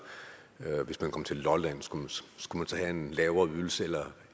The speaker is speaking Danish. hvis man kom til lolland skulle man så have en lavere ydelse